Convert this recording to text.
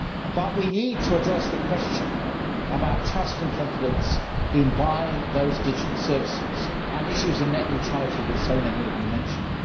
But we need to address the question of trust and confidence in buying those digital services, and the issues of net neutrality that so many of you mentioned.